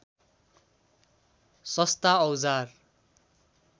सस्ता औजार